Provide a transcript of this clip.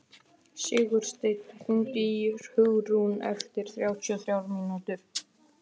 Sigursteinn, hringdu í Hugraun eftir þrjátíu og þrjár mínútur.